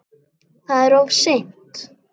Það er of seint.